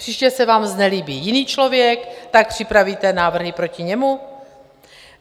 Příště se vám znelíbí jiný člověk, tak připravíte návrhy proti němu?